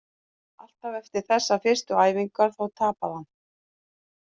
Alltaf eftir þessar fyrstu æfingar, þá tapaði hann!